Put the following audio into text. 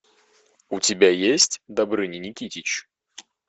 у тебя есть добрыня никитич